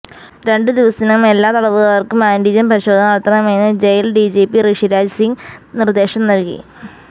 രണ്ടു ദിവസത്തിനകം എല്ലാ തടവുകാര്ക്കും ആന്റിജന് പരിശോധന നടത്തണമെന്ന് ജയില് ഡിജിപി ഋഷിരാജ് സിംഗ് നിര്ദേശം നല്കി